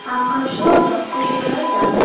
আকাশও লক্ষ করা যাচ্ছে।